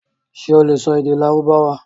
Ṣé o lè sọ èdè Lárúbáwá?